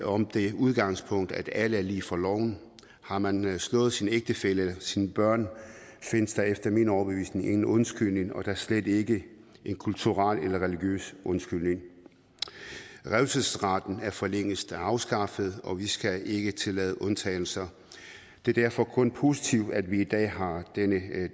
om det udgangspunkt at alle er lige for loven har man slået sin ægtefælle sine børn findes der efter min overbevisning ingen undskyldning og da slet ikke en kulturel eller religiøs undskyldning revselsesretten er for længst afskaffet og vi skal ikke tillade undtagelser det er derfor kun positivt at vi i dag har denne